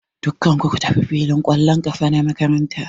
Dukkan ku ku tafi filin ƙwallon ƙafa na makaranta!